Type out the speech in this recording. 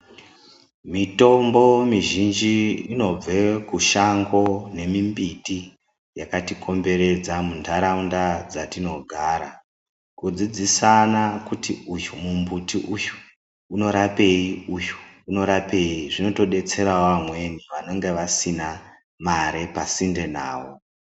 Mitombo mizhinji inobve kushango ne mimbuti yakatikomberedza munharaunda dzatinogara. Kudzidzisana kuti ,uyu mumbuti uyu unorapeyi uyu unorapeyi, zvinotodetserawo vamweni vanenge vasina mare pasinde nawo.